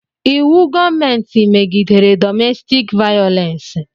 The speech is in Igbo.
Íwú gọọmenti megidere dọmestik vayolensi